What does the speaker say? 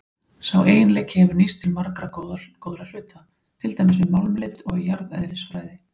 Sá eiginleiki hefur nýst til margra góðra hluta, til dæmis við málmleit og í jarðeðlisfræði.